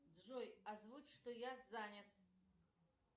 джой озвучь что я занят